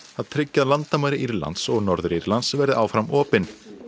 að tryggja að landamæri Írlands og Norður Írlands verði áfram opin